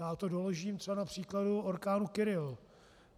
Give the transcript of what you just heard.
Já to doložím třeba na příkladu orkánu Kyrill.